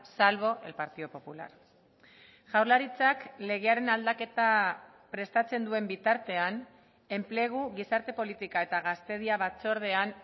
salvo el partido popular jaurlaritzak legearen aldaketa prestatzen duen bitartean enplegu gizarte politika eta gaztedia batzordean